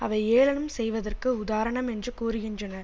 அவை ஏளனம் செய்வதற்கு உதாரணம் என்று கூறுகின்றனர்